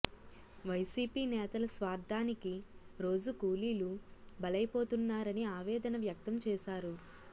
YCP నేతల స్వార్ధానికి రోజు కూలీలు బలైపోతున్నారని ఆవేదన వ్యక్తం చేశారు